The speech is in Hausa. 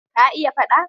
Ka iya faɗa?